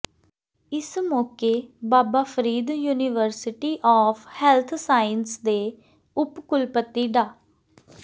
ਇਸ ਮੌਕੇ Baba Farid university of health sciences ਦੇ ਉਪ ਕੁਲਪਤੀ ਡਾ